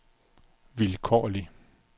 vilkårlig